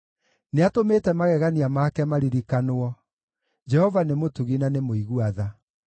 Nĩatũmĩte magegania make maririkanwo; Jehova nĩ mũtugi na nĩ mũigua tha.